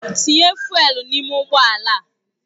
Tinye fụ́élú n'ime ụgbọ ala!